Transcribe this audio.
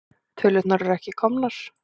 Tölurnar eru ekki komnar.